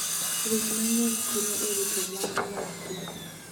Winy mang'eny konyo e rito mwandu mag piny.